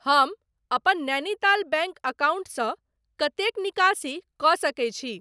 हम अपन नैनीताल बैंक अकाउंटसँ कतेक निकासी कऽ सकैत छी?